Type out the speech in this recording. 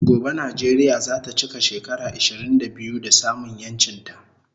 Gobe Nijeria zata chika shekara ishirin da biyu da samun yanchin ta